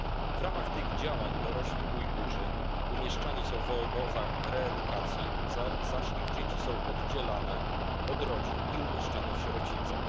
W ramach tych działań dorośli Ujgurzy umieszczani są w obozach reedukacji, zaś ich dzieci są oddzielane od rodzin i umieszczane w sierocińcach.